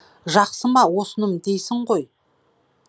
жақсы ма осыным дейсің ғой